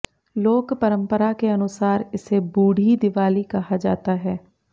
लोक परंपरा के अनुसार इसे बूढ़ी दिवाली कहा जाता है